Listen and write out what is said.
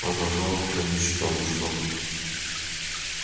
продолжал он канючить ну что ты